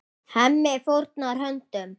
Hemmi fórnar höndum.